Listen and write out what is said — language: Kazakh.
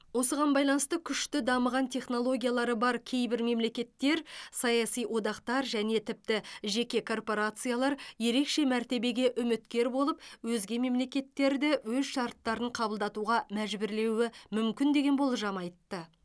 осыған байланысты күшті дамыған технологиялары бар кейбір мемлекеттер саяси одақтар және тіпті жеке корпорациялар ерекше мәртебеге үміткер болып өзге мемлекеттерді өз шарттарын қабылдатуға мәжбүрлеуі мүмкін деген болжам айтты